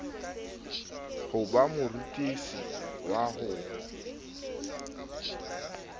ho ba morutisi wa ho